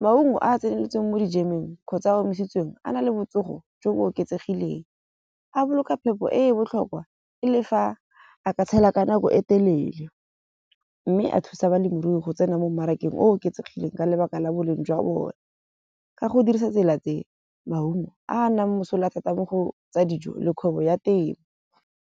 Maungo a a tseneletseng mo dijemeng kgotsa a omisitsweng a na le botsogo jo bo oketsegileng. A boloka phepo e e botlhokwa e le fa a ka tshela ka nako e telele. Mme a thusa balemirui go tsena mo mmarakeng oketsegileng ka lebaka la boleng jwa bone. Ka go dirisa tsela tse maungo a nang mosola thata mo go tsa dijo le kgwebo ya temo.